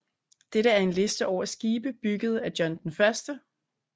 Dette er en liste over skibe bygget af John I